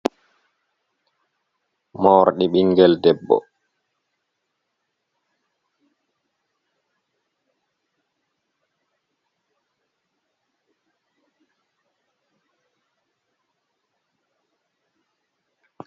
mordi ɓingel debbo.